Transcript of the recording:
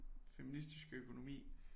Feministisk økonomi